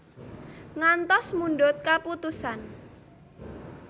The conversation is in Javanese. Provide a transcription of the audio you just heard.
Ngantos mundhut kaputusan